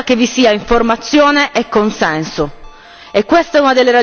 E questa è una delle ragioni che ci porta a dire stop TTIP subito!